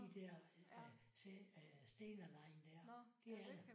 De der Stena Line der. Det er der